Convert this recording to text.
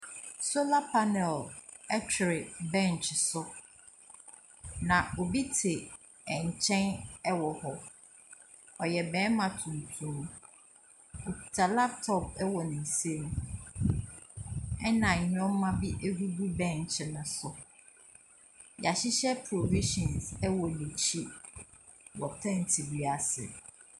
Solar panel twere bench so, na obi te nkyɛn wɔ hɔ. Ɔyɛ barima tuntum. Ɔkita laptop wɔ ne nsam, ɛna nneɛma bi gugu bench no so. Wɔahyehyɛ provisions wɔ n'akyi. Wɔ ten bi ase.